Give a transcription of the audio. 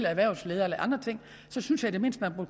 erhvervsledere jeg synes i det mindste at man